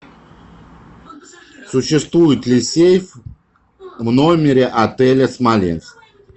существует ли сейф в номере отеля смоленск